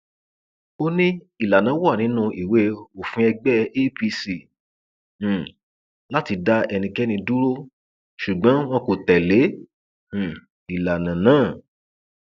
ó ní ìlànà wà nínú ìwé òfin ẹgbẹ apc um láti dá ẹnikẹni dúró ṣùgbọn wọn kò tẹlé um ìlànà náà